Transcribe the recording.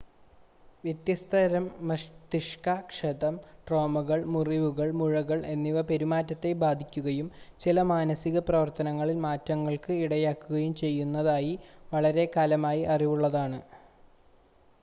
വ്യത്യസ്ത തരം മസ്തിഷ്ക ക്ഷതം ട്രോമകൾ മുറിവുകൾ മുഴകൾ എന്നിവ പെരുമാറ്റത്തെ ബാധിക്കുകയും ചില മാനസിക പ്രവർത്തനങ്ങളിൽ മാറ്റങ്ങൾക്ക് ഇടയാക്കുകയും ചെയ്യുന്നതായി വളരെക്കാലമായി അറിവുള്ളതാണ്